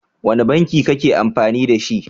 Wane banki kake amfani dashi?